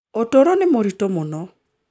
Ũtũũro nĩ mũritũ mũno.